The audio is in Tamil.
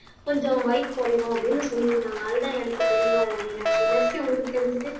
கொஞ்சம் வயசு குறையும் அப்படின்னு சொல்லி இருந்தாங்க அதுதான் எனக்கு தெரியும் மீனாட்சி மெர்சி உங்களுக்கு தெரிஞ்சது